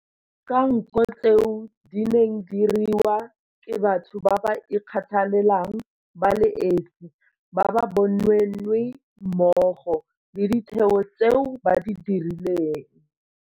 Ka nko tseo di neng di diriwa ke batho ba ba ikgathalelang ba le esi, ba ba bonweenwee mmogo le ditheo tseo ba di direlang.